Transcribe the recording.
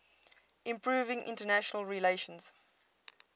improving international relations